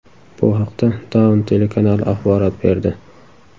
Bu haqda Dawn telekanali axborot berdi .